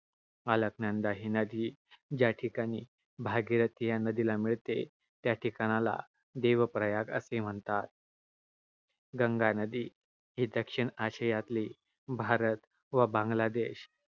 अलकनंदा ही नदी ज्या ठिकाणी भागीरथीला मिळते, त्या ठिकाणाला देवप्रयाग असे म्हणतात. गंगा नदी ही दक्षिण आशियातील भारत व बांगलादेश,